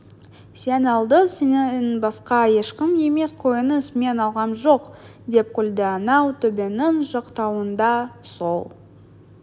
сен алдың сенен басқа ешкім емес қойыңыз мен алғам жоқ деп күлді анау төбенің жақтауында сол